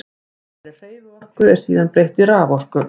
Þessari hreyfiorku er síðan breytt í raforku.